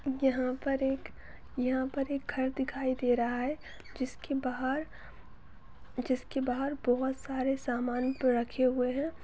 यहा पर एक यहा पर एक घर दिखाई दे रहा है जिसके बाहर जिसके बाहर बहोत सारे समान रखे हुए है।